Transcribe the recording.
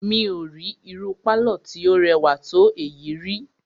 Mí ò rí irú pálọ̀ tí o rẹwà tó èyí ríi.